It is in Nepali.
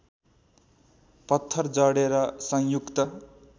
पत्थर जडेर संयुक्त